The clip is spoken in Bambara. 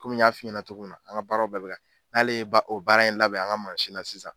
Kɔmi n y'a f i ɲɛna togo min na an ka baaraw bɛɛ be n'ale ba o baara in labɛn an ga mansi na sisan